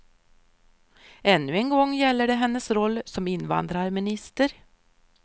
Ännu en gång gäller det hennes roll som invandrarminister.